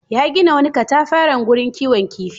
Ya gina wani katafaren wurin kiwon kifi.